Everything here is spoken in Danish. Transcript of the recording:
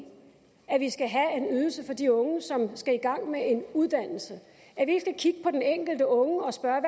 at vi skal have en ydelse for de unge som skal i gang med en uddannelse at vi skal kigge på den enkelte unge og spørge